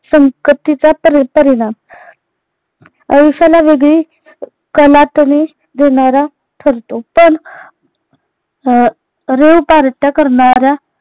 संगतीचा पारी परिणाम. आयुष्याला वेगळी देणारा ठरतो पण rave पार्ट्या करणाऱ्या